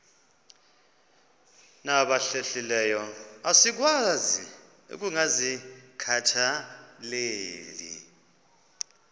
nabahlehliyo asikwazi ukungazikhathaieli